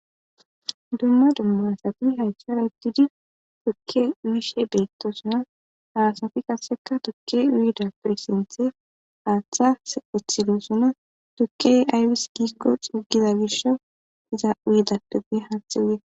Dumma dumma asati aythera utidi tuke uyishe betosona ha asati qaseka tuke uyidape hathas uthidosona turkey dhayes giko xugiza Misha hathe uyetes